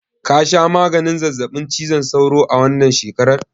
Ka sha maganin zazzaɓin cizon sauro a wannan shekarar?